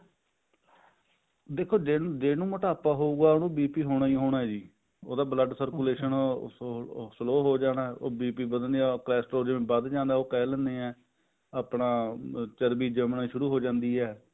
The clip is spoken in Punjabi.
ਦੇਖੋ ਦੇਖੋ ਜਿਹਨੂੰ ਮੋਟਾਪਾ ਹੋਊਗਾ ਉਹਨੂੰ BP ਹੋਣਾ ਹੀ ਹੋਣਾ ਜੀ ਉਹਦਾ blood circulation slow ਹੋ ਜਾਣਾ BP ਵਧਣਾ Castrol ਵਾਦ੍ਜ ਜਾਂਦਾ ਜਿਵੇਂ ਕਿਹ ਦਿੰਦੇ ਹਾਂ ਆਪਾਂ ਚਰਬੀ ਜੰਮਣਾ ਸ਼ੁਰੂ ਹੋ ਜਾਂਦੀ ਹੈ